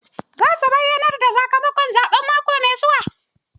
Za su bayyanar da sakamakon zaɓen mako mai zuwa.